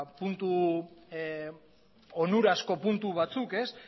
onurazko puntu batzuk